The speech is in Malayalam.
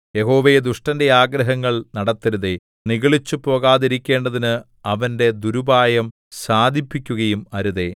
യഹോവേ ദുഷ്ടന്റെ ആഗ്രഹങ്ങൾ നടത്തരുതേ നിഗളിച്ചുപോകാതിരിക്കേണ്ടതിന് അവന്റെ ദുരുപായം സാധിപ്പിക്കുകയും അരുതേ സേലാ